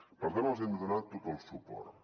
per tant els hi hem de donar tot el suport